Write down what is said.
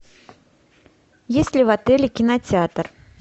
есть ли в отеле кинотеатр